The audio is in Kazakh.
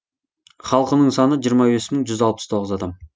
халқының саны жиырма бес мың жүз алпыс тоғыз адам